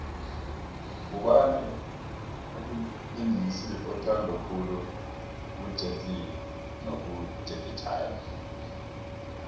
ngubani umbingisi othandwa khulu kujetlee nojakie chan